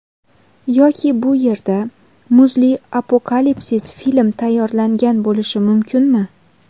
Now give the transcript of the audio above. Yoki bu yerda muzli apokalipsis film tayyorlangan bo‘lishi mumkinmi?